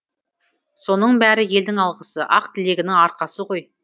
соның бәрі елдің алғысы ақ тілегінің арқасы ғой